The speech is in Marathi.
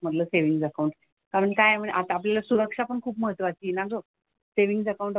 म्हंटलं सेव्हिन्ग अकाउंट. आपण काय आता आपल्याला सुरक्षा पण खूप महत्त्वाची आहे ना ग. Saving account,